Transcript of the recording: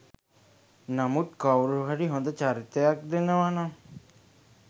නමුත් කවුරුහරි හොඳ චරිතයක් දෙනවා නම්